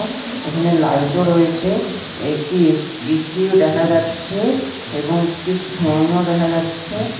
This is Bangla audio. এখানে লাইটও রয়েছে একটি এ_সি এ_সি -ও দেখা যাচ্ছে এবং একটি ফ্যান -ও দেখা যাচ্ছে।